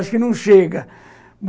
Acho que não chega.